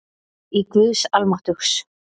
Í GUÐS ALMÁTTUGS